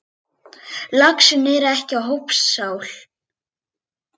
Laxinn er ekki hópsál.